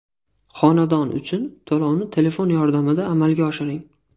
Xonadon uchun to‘lovni telefon yordamida amalga oshiring!.